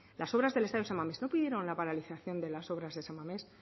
las obras del estadio san mamés no pidieron la paralización de las obras de san mamés